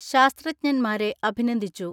ശാസ്ത്രജ്ഞൻമാരെ അഭിനന്ദിച്ചു.